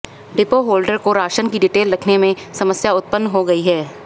depot holder को ration की detail लिखने में भी समस्या उत्पन्न हो गई है